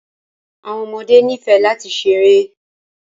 Àwọn ọmọdé ní fẹ́ lati sẹ̀rẹ.